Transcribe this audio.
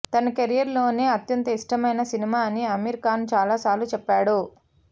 తన కెరీర్ లోనే అత్యంత ఇష్టమైన సినిమా అని అమీర్ ఖాన్ చాలా సార్లు చెప్పాడు